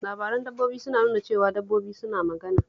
Labaran dabbobi suna nuna cewa dabbobi suna magana